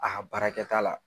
A ka baarakɛta la